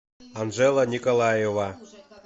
анжела николаева